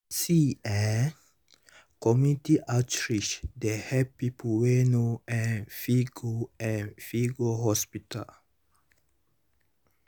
see eh community outreach dey help people wey no um fit go um fit go hospital.